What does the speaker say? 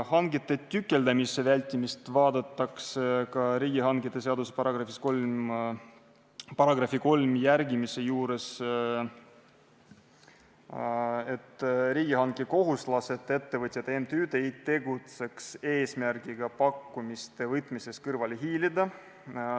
Hangete tükeldamise vältimist vaadatakse ka riigihangete seaduse § 3 järgimise juures, et riigihanke kohustuslased, ettevõtjad ja MTÜ-d ei tegutseks eesmärgiga pakkumiste võtmisest kõrvale hiilida.